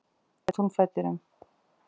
Þyrla í túnfætinum